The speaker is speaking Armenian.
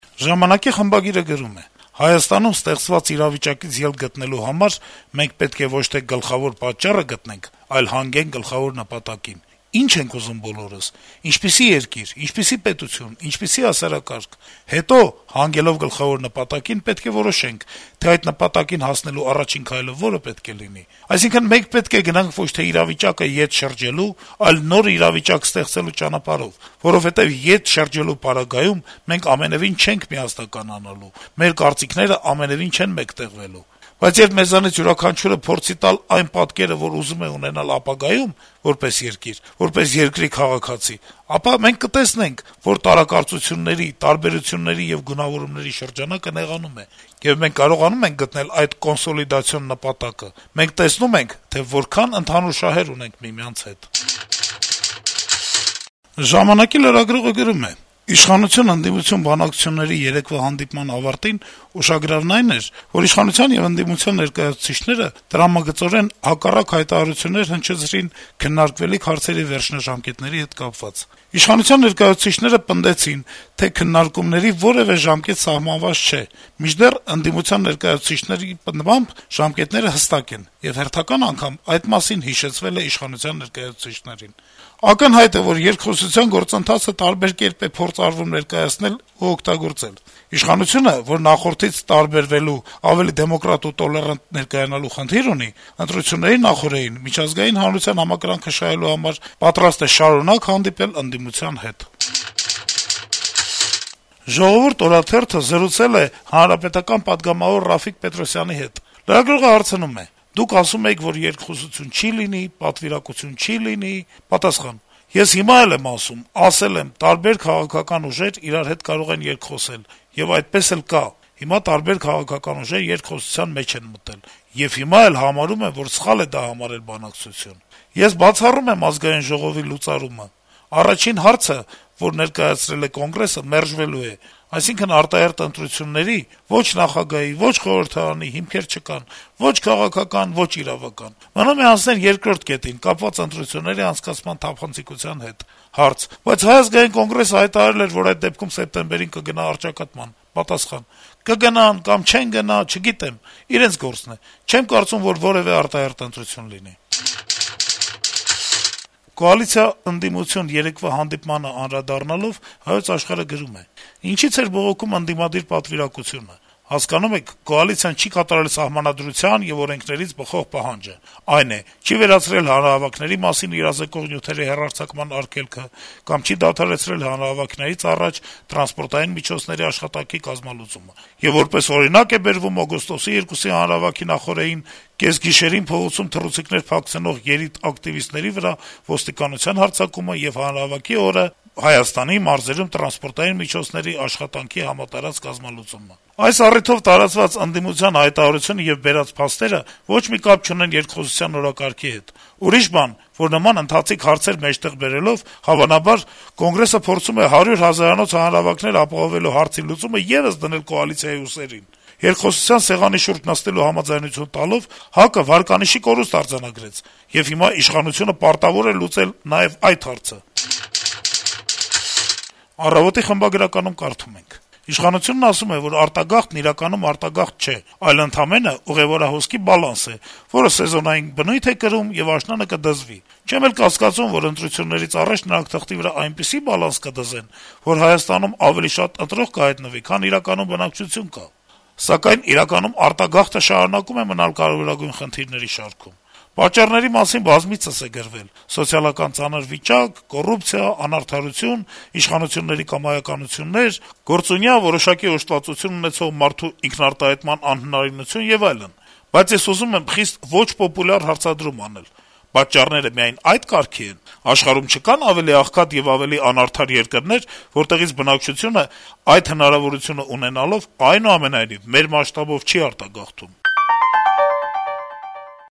«ժամանակ»-ի խմբագիրը գրում է. - «Հայաստանում ստեղծված իրավիճակից ելք գտնելու համար մենք պետք է ոչ թե գլխավոր պատճառը գտնենք, այլ հանգենք գլխավոր նպատակին՝ ինչ ենք ուզում բոլորս, ինչպիսի երկիր, ինչպիսի պետություն, ինչպիսի հասարակարգ: Հետո, հանգելով գլխավոր նպատակին, պետք է որոշենք, թե այդ նպատակին հասնելու առաջին քայլը որը պետք է լինի: Այսինքն, մենք պետք է գնանք ոչ թե իրավիճակը ետ շրջելու, այլ նոր իրավիճակ ստեղծելու ճանապարհով, որովհետեւ ետ շրջելու պարագայում մենք ամենեւին չենք միասնականանալու, մեր կարծիքները ամենեւին չեն մեկտեղվելու: Բայց երբ մեզանից յուրաքանչյուրը փորձի տալ այն պատկերը, որ ուզում է ունենալ ապագայում՝ որպես երկիր, որպես երկրի քաղաքացի, ապա մենք կտեսնենք, որ տարակարծությունների, տարբերությունների եւ գունավորումների շրջանակը նեղանում է, եւ մենք կարողանում ենք գտնել այդ կոնսոլիդացիոն նպատակը, մենք տեսնում ենք, թե որքան ընդհանուր շահեր ունենք միմյանց հետ»: «Ժամանակ»-ի լրագրողը գրում է. - «Իշխանություն - ընդդիմություն բանակցությունների երեկվա հանդիպման ավարտին ուշագրավն այն էր, որ իշխանության եւ ընդդիմության ներկայացուցիչները տրամագծորեն հակառակ հայտարարություններ հնչեցրին քննարկվելիք հարցերի վերջնաժամկետների հետ կապված: Իշխանության ներկայացուցիչները պնդեցին, թե քննարկումների որեւէ ժամկետ սահմանված չէ: Մինչդեռ ընդդիմության ներկայացուցիչների պնդմամբ` ժամկետները հստակ են, եւ հերթական անգամ այդ մասին հիշեցվել է իշխանության ներկայացուցիչներին: Ակնհայտ է, որ երկխոսության գործընթացը տարբեր կերպ է փորձ արվում ներկայացնել ու օգտագործել: Իշխանությունը, որ նախորդից տարբերվելու, ավելի դեմոկրատ ու տոլերանտ ներկայանալու խնդիր ունի, ընտրությունների նախօրեին միջազգային հանրության համակրանքը շահելու համար պատրաստ է շարունակ հանդիպել ընդդիմության հետ»: «Ժողովուրդ» օրաթերթը զրուցել է պատգամավոր Ռաֆիկ Պետրոսյանի (ՀՀԿ) հետ: Լրագրողը հարցնում է. - «Դուք ասում էիք, որ երկխոսություն չի լինի, պատվիրակություն չի լինի»: Պատասխան. - «Ես հիմա էլ եմ ասում, ասել եմ` տարբեր քաղաքական ուժեր իրար հետ կարող են երկխոսել: Եվ այդպես էլ կա, հիմա տարբեր քաղաքական ուժեր երկխոսության մեջ են մտել: Եվ հիմա էլ համարում եմ, որ սխալ է դա համարել բանակցություն: Ես բացառում եմ Ազգային ժողովի լուծարումը: Առաջին հարցը, որ ներկայացրել է Կոնգրեսը, մերժվելու է, այսինքն` արտահերթ ընտրությունների` ո'չ նախագահի, ո'չ խորհրդարանի, հիմքեր չկան ո'չ քաղաքական, ո'չ իրավական: Մնում է անցնել երկրորդ կետին` կապված ընտրությունների անցկացման թափանցիկության հետ»: Հարց. - «Բայց Հայ ազգային կոնգրեսը հայտարարել է, որ այդ դեպքում սեպտեմբերին կգնա առճակատման»: Պատասխան. - «Կգնան կամ չեն գնա, չգիտեմ: Իրենց գործն է: Չեմ կարծում, որ որեւէ արտահերթ ընտրություն լինի»: Կոալիցիա - ընդդիմություն երեկվա հանդիպմանը անդրադառնալով` «Հայոց Աշխարհ»-ը գրում է. - «Ինչի՞ց էր բողոքում ընդդիմության պատվիրակությունը: Հասկանում եք, կոալիցիան չի կատարել «սահմանադրության եւ օրենքներից բխող պահանջը»: Այն է, չի վերացրել հանրահավաքների մասին իրազեկող նյութերի հեռարձակման արգելքը կամ չի դադարեցրել հանրահավաքներից առաջ տրանսպորտային միջոցների աշխատանքի կազմալուծումը: Եվ որպես օրինակ է բերվում օգոստոսի 2-ի հանրահավաքի նախօրեին կեսգիշերին փողոցում թռուցիկներ փակցնող երիտակտիվիստների վրա «ոստիկանության հարձակումը» եւ հանրահավաքի օրը «Հայաստանի մարզերում տրանսպորտի միջոցների աշխատանքի համատարած կազմալուծումը: Այս առիթով տարածած հայտարարությունը եւ բերված «փաստերը» ոչ մի կապ չունեն երկխոսության օրակարգի հետ: Ուրիշ բան, որ նման «ընթացիկ հարցեր» մեջտեղ բերելով, հավանաբար ՀԱԿ-ը փորձում է «100 հազարանոց» հանրահավաքներ ապահովելու հարցի լուծումը եւս դնել կոալիցիայի ուսերին: Երկխոսության սեղանի շուրջ նստելու համաձայնություն տալով՝ ՀԱԿ-ը վարկանիշի կորուստ արձանագրեց, եւ հիմա իշխանությունը պարտավոր է լուծել նաեւ այդ հարցը»: «Առավոտ»-ի խմբագրականում կարդում ենք. - «Իշխանությունն ասում է, որ արտագաղթն իրականում արտագաղթ չէ, դա ընդամենը ուղեւորահոսքի բալանս է, որը սեզոնային բնույթ է կրում, եւ աշնանը «կդզվի»: Չեմ էլ կասկածում, որ ընտրություններից առաջ նրանք թղթի վրա այնպիսի բալանս «կդզեն», որ Հայաստանում ավելի շատ ընտրող կհայտնվի, քան իրականում բնակչություն կա: Սակայն արտագաղթը իրականում շարունակում է մնալ կարեւորագույն խնդիրների շարքում: Պատճառների մասին բազմիցս է գրվել. սոցիալական ծանր վիճակ, կոռուպցիա, անարդարություն, իշխանությունների կամայականություններ, գործունյա, որոշակի օժտվածություն ունեցող մարդու ինքնարտահայտման անհնարինություն եւ այլն: Բայց ես ուզում եմ խիստ ոչ պոպուլյար հարցադրում անել. պատճառները միայն ա՞յդ կարգի են: Աշխարհում չկա՞ն ավելի աղքատ ու ավելի անարդար երկրներ, որտեղից բնակչությունը, այդ հնարավորությունը ունենալով, այնուամենայնիվ, մեր մասշտաբով չի արտագաղթում»: